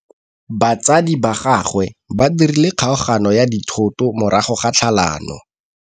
Batsadi ba gagwe ba dirile kgaoganyô ya dithoto morago ga tlhalanô.